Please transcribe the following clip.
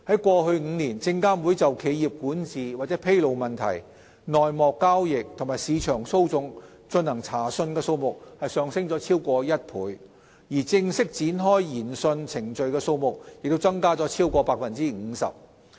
過去5年，證監會就企業管治或披露問題、內幕交易及市場操縱進行查訊的數目上升了超過1倍，而正式展開的研訊程序的數目則增加了超過 50%。